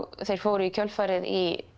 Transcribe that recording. þeir fóru í kjölfarið í